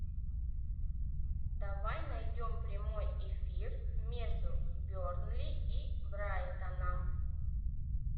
давай найдем прямой эфир между бернли и брайтоном